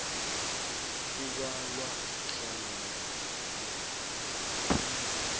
kubalwa hlangana nokhunye